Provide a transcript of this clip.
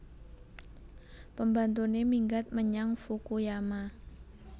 Pembantune minggat menyang Fukuyama